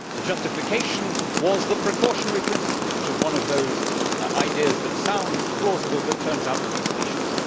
The justification was the precautionary principle, which is one of those ideas that sounds plausible but turns out to be specious.